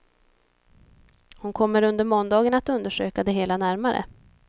Hon kommer under måndagen att undersöka det hela närmare.